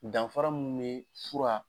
Danfara munnu be fura